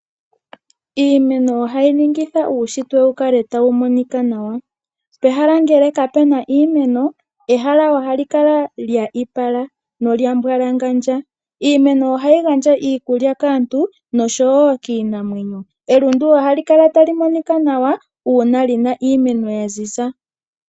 Iimeno ohayi ningitha uunshitwe wukale tawu monika nawa, pehala ngele kapena iimeno, ehala ohali kala lya ipa na olyambwalangandja. Iimeno ohayi gandja iikulya kaantu nosho wo kiinamwenyo, elundu ohali kala tali monika nawa uuna lina iimeno yaziza.